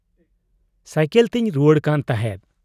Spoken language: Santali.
ᱥᱟᱹᱭᱠᱚᱞᱛᱤᱧ ᱨᱩᱣᱟᱹᱲ ᱠᱟᱱ ᱛᱟᱦᱮᱸᱫ ᱾